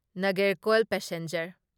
Nagercoil passenger